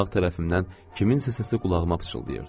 Sağ tərəfimdən kimsənin səsi qulağıma pıçıldayırdı.